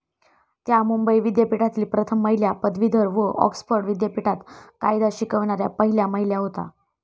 त्या मुंबई विद्यापीठातील प्रथम महिला पदवीधर व ऑक्सफर्ड विद्यापीठात कायदा शिकविणाऱ्या पहिल्या महिला होत्या.